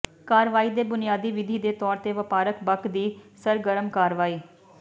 ਕਾਰਵਾਈ ਦੇ ਬੁਨਿਆਦੀ ਵਿਧੀ ਦੇ ਤੌਰ ਤੇ ਵਪਾਰਕ ਬਕ ਦੀ ਸਰਗਰਮ ਕਾਰਵਾਈ